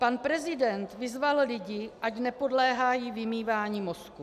Pan prezident vyzval lidi, ať nepodléhají vymývání mozků.